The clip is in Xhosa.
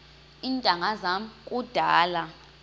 iintanga zam kudala